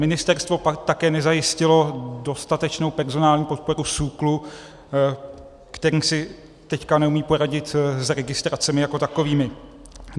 Ministerstvo také nezajistilo dostatečnou personální podporu SÚKLu, který si teď neumí poradit s registracemi jako takovými.